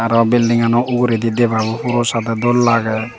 aah buildingno ugureedi deba ba poro sadhe dol lage.